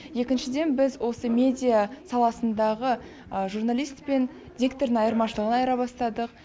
екіншіден біз осы медиа саласындағы журналист пен диктордың айырмашылығын айыра бастадық